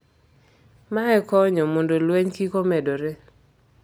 Mae konyo mondo lweny kik omedore